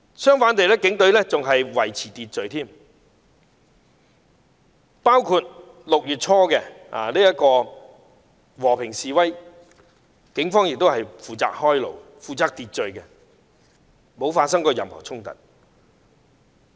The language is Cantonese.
相反，警隊還會負責維持秩序，包括在6月初的和平示威時，警方亦有負責開路及維持秩序，並沒有發生任何衝突。